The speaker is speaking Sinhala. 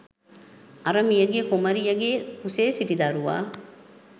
අර මියගිය කුමරියගේ කුසේ සිටි දරුවා